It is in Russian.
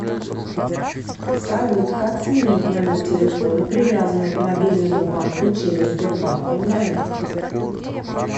салют как сменить номер телефона привязанный к мобильному банку через сбербанк онлайн